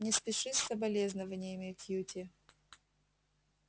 не спеши с соболезнованиями кьюти